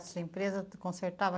A sua empresa consertava?